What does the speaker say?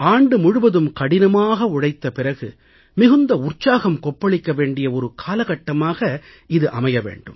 ஆண்டு முழுவதும் கடினமாக உழைத்த பிறகு மிகுந்த உற்சாகம் கொப்பளிக்க வேண்டிய ஒரு காலகட்டமாக இது அமைய வேண்டும்